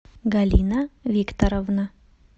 галина викторовна